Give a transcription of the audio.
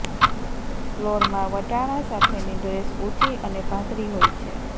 ફ્લોરમાં વટાણા સાથેની ડ્રેસ ઊંચી અને પાતળી હોય છે